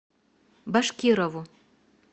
башкирову